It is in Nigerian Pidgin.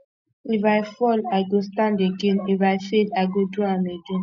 if i fall i go stand again if i fail i go do am again